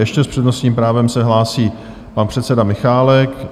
Ještě s přednostním právem se hlásí pan předseda Michálek.